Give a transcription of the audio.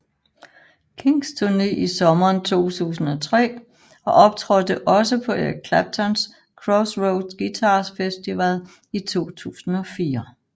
Kings turne i sommeren 2003 og optrådte også på Eric Claptons Crossroads Guitar Festival i 2004